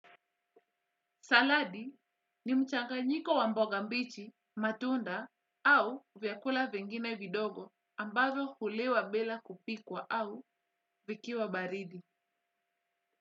Saladi ni mchanganyiko wa mboga mbichi matunda au vyakula vingine vidogo ambazo huliwa bila kupikwa au vikiwa baridi.